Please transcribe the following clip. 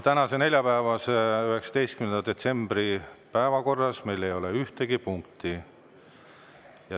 Tänase, neljapäevase, 19. detsembri istungi päevakorras meil ei ole ühtegi punkti.